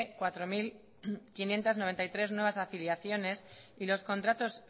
cuatro mil quinientos noventa y tres nuevas afiliaciones y los contratos